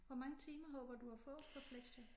Hvor mange timer håber du at få på flexjob?